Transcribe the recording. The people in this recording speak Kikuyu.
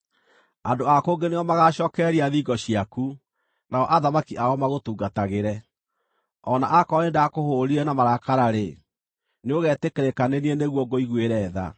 “Andũ a kũngĩ nĩo magaacookereria thingo ciaku, nao athamaki ao magũtungatagĩre. O na akorwo nĩndakũhũũrire na marakara-rĩ, nĩũgeetĩkĩrĩka nĩ niĩ nĩguo ngũiguĩre tha.